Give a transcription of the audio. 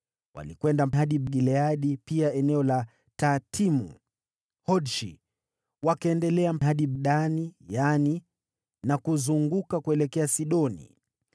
Walikwenda hadi Gileadi na pia eneo la Tahtimu-Hodshi, wakaendelea hadi Dani-Yaani na kuzunguka kuelekea Sidoni.